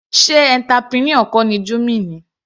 Sé entrepreneur kọ ni Jummy ni.